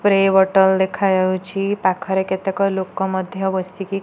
Spray bottle ଦେଖା ଯାଉଛି। ପାଖରେ କେତେକ ଲୋକ ମଧ୍ୟ ବସିକି --